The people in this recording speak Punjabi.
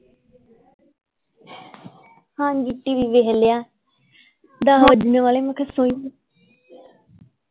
ਹਾਂਜੀ TV ਵੇਖ ਲਿਆ ਦੱਸ ਵੱਜਣੇ ਵਾਲੇ ਮੈਂ ਤੇ ਸੋਈ ਨਹੀਂ